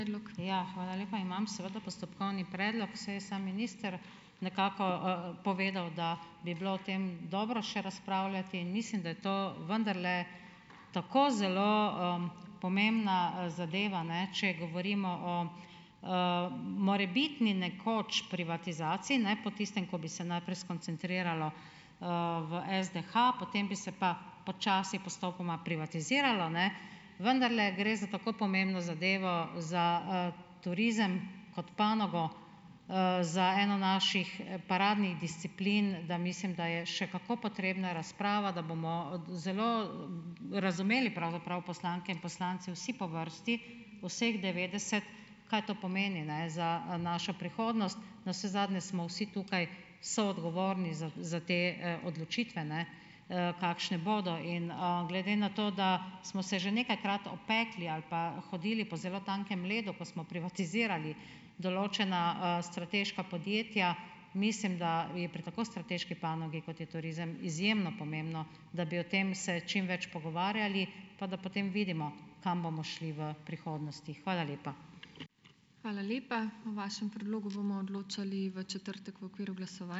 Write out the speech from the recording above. Ja, hvala lepa. Imam seveda postopkovni predlog, saj je sam minister nekako, povedal, da bi bilo o tem dobro še razpravljati, in mislim, da je to vendarle tako zelo, pomembna, zadeva, ne, če govorimo o, morebitni nekoč privatizaciji, ne, po tistem, ko bi se najprej skoncentriralo, v SDH, potem bi se pa počasi postopoma privatiziralo, ne, vendarle gre za tako pomembno zadevo za, turizem kot panogo, za eno naših, paradnih disciplin, da mislim, da je še kako potrebna razprava, da bomo, zelo razumeli pravzaprav poslanke in poslanci vsi po vrsti, vseh devetdeset. Kaj to pomeni, ne, za našo prihodnost? Navsezadnje smo vsi tukaj soodgovorni za za te, odločitve, ne, kakšne bodo in, glede na to, da smo se že nekajkrat opekli ali pa hodili po zelo tankem ledu, ko smo privatizirali določena, strateška podjetja. Mislim, da je pri tako strateški panogi, kot je turizem, izjemno pomembno, da bi o tem se čim več pogovarjali pa da potem vidimo, kam bomo šli v prihodnosti. Hvala lepa.